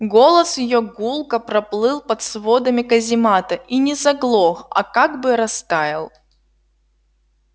голос её гулко проплыл под сводами каземата и не заглох а как бы растаял